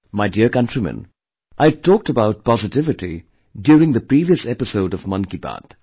My dear countrymen, I had talked about positivity during the previous episode of Mann Ki Baat